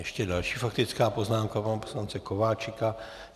Ještě další faktická poznámka pana poslance Kováčika.